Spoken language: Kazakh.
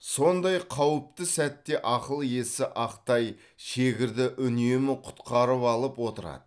сондай қауіпті сәтте ақыл иесі ақтай шегірді үнемі құтқарып алып отырады